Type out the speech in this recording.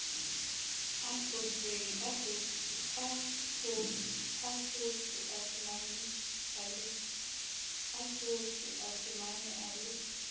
ahlotswe a fumanwe a le